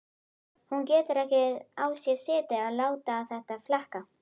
Hún getur ekki á sér setið að láta þetta flakka.